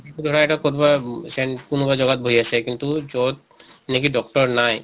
ধৰা এটা কʼত বা কোনোবা জগাত বহি আছে কিন্তু যʼত নেকি doctor নাই